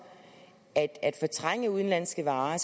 at at fortrænge udenlandske varer